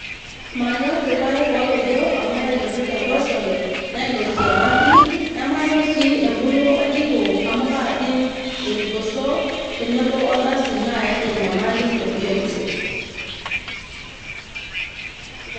Manyorr irpaek oopejo amu kaitotir enkoshoke ,nainosie emaki ,nemanyor sii empuruo oljiko amu kajing irgoso tenebo oldasin nayaki enyamali ebiotisho.